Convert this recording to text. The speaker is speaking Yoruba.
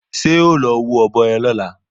Ṣé ẹ́ o lọ wá ọ̀bọ yẹn lọ́la?